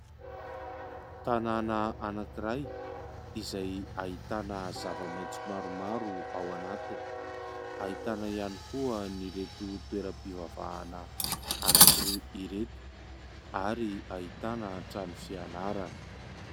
Tanàna anankiray : izay ahitana zavamaitso maromaro ao anatiny, ahitana ihany koa an'ireto toeram-pivavahana anankiroa ireto ary ahitana trano fianarana.